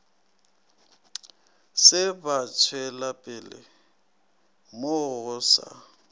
se batšwelapele mo go sa